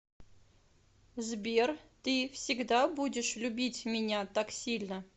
сбер ты всегда будешь любить меня так сильно